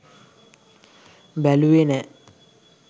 බැලුවෙ නෑ